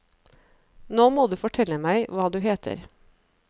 Nå må du fortelle meg hva du heter.